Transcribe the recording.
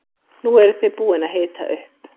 Nú eruð þið búin að hita upp.